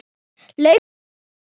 lauk hann málinu.